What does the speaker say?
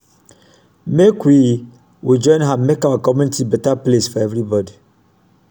make we we join hand make our community beta place for everybodi.